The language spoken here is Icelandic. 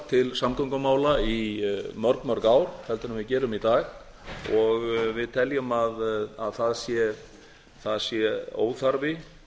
til samgöngumála í mörg mörg ár en við gerum í dag og við teljum að það sé óþarfi